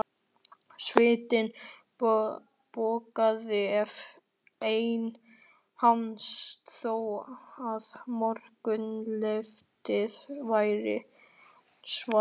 Svitinn bogaði af enni hans þó að morgunloftið væri svalt.